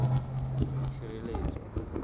itshireletso